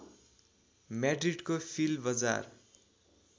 म्याड्रिडको flea बजार